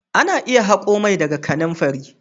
Ana iya hako mai daga kananfari.